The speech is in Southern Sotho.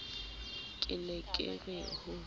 ke ne ke re ho